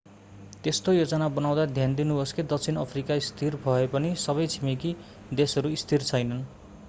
त्यस्तो योजना बनाउँदा ध्यान दिनुहोस् कि दक्षिण अफ्रिका स्थिर भएपनि सबै छिमेकी देशहरू स्थिर छैनन्